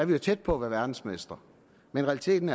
vi er tæt på at være verdensmestre men realiteten